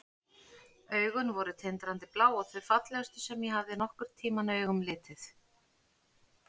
Augun voru tindrandi blá og þau fallegustu sem ég hafði nokkurn tímann augum litið.